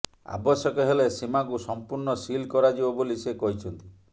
ଆବଶ୍ୟକ ହେଲେ ସୀମାକୁ ସମ୍ପୂର୍ଣ୍ଣ ସିଲ୍ କରାଯିବ ବୋଲି ସେ କହିଛନ୍ତି